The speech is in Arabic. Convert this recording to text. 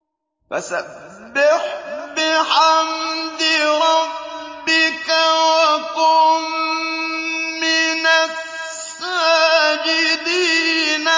فَسَبِّحْ بِحَمْدِ رَبِّكَ وَكُن مِّنَ السَّاجِدِينَ